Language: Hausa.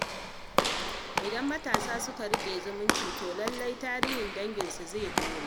Idan matasa suka riƙe zumunci, to lallai tarihin danginsu zai ɗore.